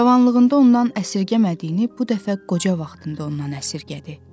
Cavanlığında ondan əsirgəmədiyini bu dəfə qoca vaxtında ondan əsirgədi.